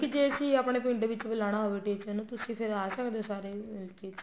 ਜ਼ੇ ਅਸੀਂ ਆਪਣੇ ਪਿੰਡ ਵਿੱਚ ਬੁਲਾਣਾ ਹੋਵੇ teacher ਨੂੰ ਤੁਸੀਂ ਫ਼ੇਰ ਆ ਸਕਦੇ ਹੋ ਸਾਰੇ ਮਿਲਕੇ